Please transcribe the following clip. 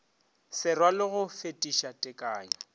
se rwale go fetiša tekanyo